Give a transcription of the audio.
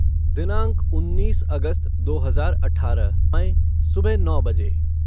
दिनांक उन्नीस अगस्त दो हज़ार अठारह समय सुबह नौ बजे